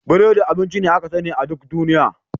Biredi abinci ne aka sani a duk duniya.